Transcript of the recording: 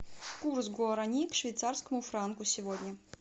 курс гуарани к швейцарскому франку сегодня